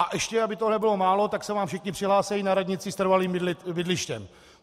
A ještě, aby toho nebylo málo, tak se vám všichni přihlásí na radnici s trvalým bydlištěm.